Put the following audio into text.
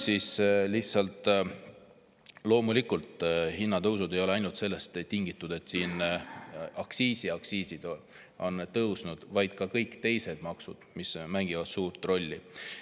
Loomulikult ei ole hinnatõusud tingitud ainult sellest, et aktsiisid on meil tõusnud, vaid ka kõik teised maksud mängivad suurt rolli.